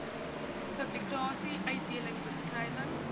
publikasie uitbeelding beskrywing